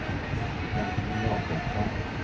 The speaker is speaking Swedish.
Dagny Jacobsson